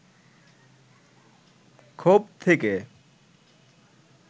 ক্ষোভ থেকে